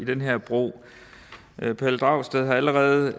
den her bro herre pelle dragsted har allerede